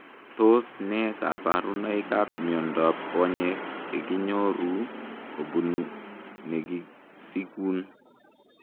Tos nee kabarunoik ap Miondoop konyek ,chekinyoruu kobunuu negisikuun?